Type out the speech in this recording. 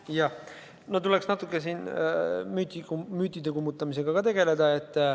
Jah, no siin tuleks natukene müüte kummutada.